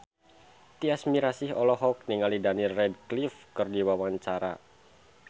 Tyas Mirasih olohok ningali Daniel Radcliffe keur diwawancara